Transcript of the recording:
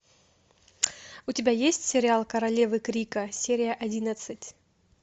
у тебя есть сериал королевы крика серия одиннадцать